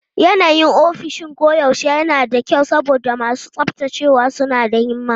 Yanayin ofishin koyaushe yana da kyau saboda masu tsaftacewa suna da himma.